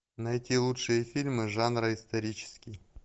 найти лучшие фильмы жанра исторический